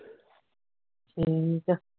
ਠੀਕ ਹੈ